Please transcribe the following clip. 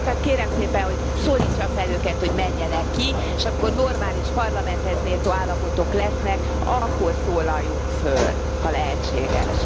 Tehát kérem szépen, hogy szólítsa fel őket, hogy menjenek ki, s amikor normális, Parlamenthez méltó állapotok lesznek, akkor szólaljunk föl, ha lehetséges.